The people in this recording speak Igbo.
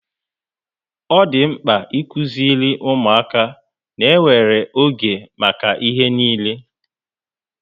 Ọ dị mkpa ịkuziri ụmụaka ná enwere oge maka ihe niile